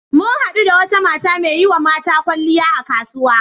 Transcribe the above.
Mun haɗu da wata mata dake yiwa mata kyalliya a kasuwa.